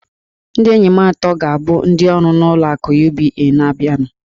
Ndị enyi m atọ ga-abụ ndị ọrụ n'ụlọ akụ UBA. na-abịanụ